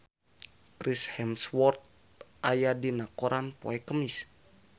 Chris Hemsworth aya dina koran poe Kemis